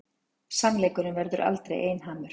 Sannleikurinn verður aldrei einhamur.